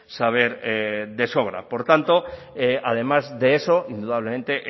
saber de sobra por tanto además de eso indudablemente